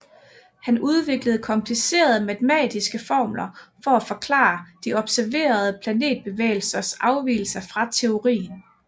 Han udviklede komplicerede matematiske formler for at forklare de observerede planetbevægelsers afvigelser fra teorien